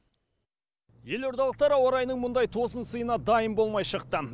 елордалықтар ауа райының мұндай тосын сыйына дайын болмай шықты